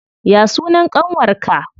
Ya sunan ƙanwar ka?